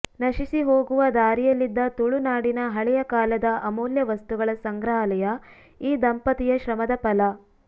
ನಶಿಸಿ ಹೋಗುವ ದಾರಿಯಲ್ಲಿದ್ದ ತುಳುನಾಡಿನ ಹಳೆಯ ಕಾಲದ ಅಮೂಲ್ಯ ವಸ್ತುಗಳ ಸಂಗ್ರಹಾಲಯ ಈ ದಂಪತಿಯ ಶ್ರಮದ ಫಲ